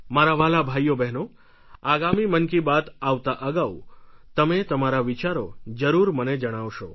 મારા વ્હાલા ભાઈઓબહેનો આગામી મન કી બાત આવતા અગાઉ તમે તમારા વિચારો જરૂર મને જણાવશો